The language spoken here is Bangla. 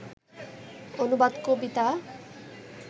অনুবাদ কবিতা